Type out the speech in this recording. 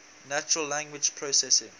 natural language processing